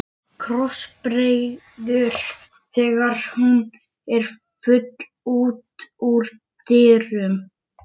Krossbregður þegar hún er full út úr dyrum.